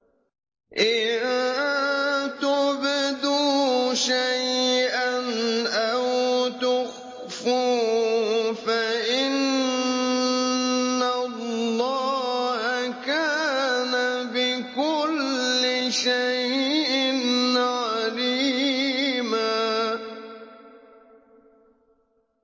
إِن تُبْدُوا شَيْئًا أَوْ تُخْفُوهُ فَإِنَّ اللَّهَ كَانَ بِكُلِّ شَيْءٍ عَلِيمًا